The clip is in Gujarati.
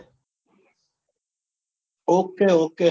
okay okay